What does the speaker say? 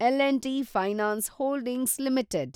L and T finance holdings limited